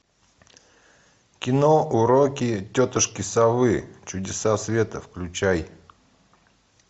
кино уроки тетушки совы чудеса света включай